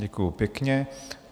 Děkuji pěkně.